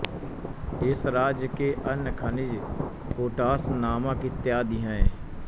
इस राज्य के अन्य खनिज पोटाश नमक इत्यादि हैं